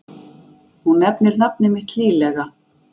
Hún nefnir nafnið mitt hlýlega.